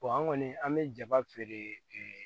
an kɔni an bɛ jaba feere